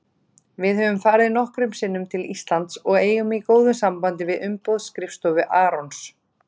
Við höfum farið nokkrum sinnum til Íslands og eigum í góðu sambandi við umboðsskrifstofu Arons.